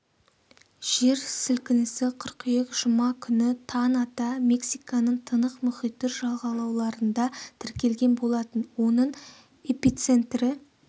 жер сілкінісі қыркүйек жұма күні таң ата мексиканың тынық мұхиты жағалауларында тіркелген болатын оның эпицентрі